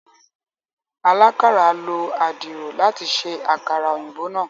alakàra ló Àdìrò láti ṣe àkàrà òyìnbó náa.